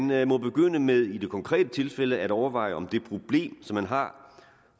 man må begynde med i det konkrete tilfælde at overveje om det problem som man har